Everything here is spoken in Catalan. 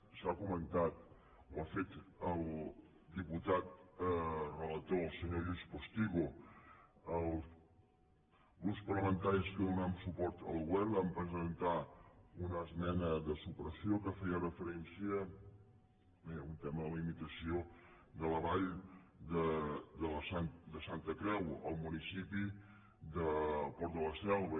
s’ha comentat ho ha fet el diputat relator el senyor lluís postigo els grups parlamentaris que donem suport al govern vam presentar una esmena de supressió que feia referència a un tema de limitació de la vall de santa creu al municipi del port de la selva